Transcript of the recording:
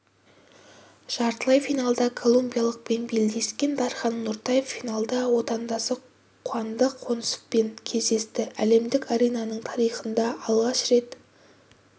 жартылай финалда колумбиялықпен белдескен дархан нортаев финалда отандасы қуандық қонысовпен кездесті әлемдік аренасының тарихында алғаш рет